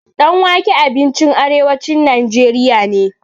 Ɗan wake abincin arewacin najeriya ne.